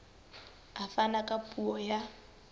a fana ka puo ya